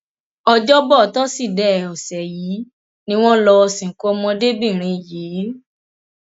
ọjọbọ tọsídẹẹ ọsẹ yìí ni wọn lọọ sìnkú ọmọdébìnrin yìí